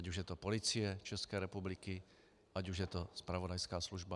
Ať už je to Policie České republiky, ať už je to zpravodajská služba.